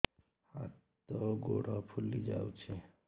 ହାତ ଗୋଡ଼ ଫୁଲି ଯାଉଛି